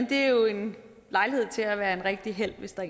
det er jo en lejlighed til at være en rigtig helt hvis der